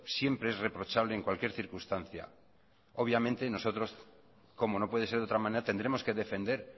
siempre es reprochable en cualquier circunstancia obviamente nosotros como no puede ser de otra manera tendremos que defender